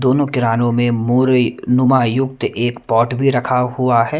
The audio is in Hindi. दोनों किरानों में मोर नुमा युक्त एक पॉट भी रखा हुआ हैं।